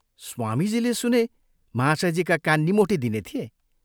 स्वामीजीले सुने महाशयजीका कान निमोठिदिने थिए।